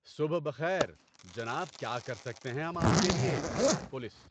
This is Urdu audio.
صبح بخیر۔ جناب کیا کر سکتے ہیں ہم آپ کے لیے؟ (پولیس)